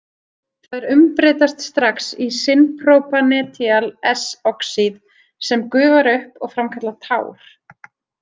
Þær umbreytast strax í syn-propanethial-S-oxíð sem gufar upp og framkallar tár.